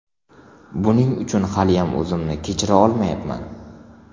Buning uchun haliyam o‘zimni kechira olmayapman.